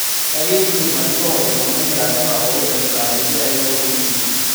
ekindim aishoo ilomon leatua oipirta irkiyai loorpolisi